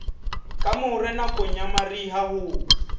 kamore nakong ya mariha ho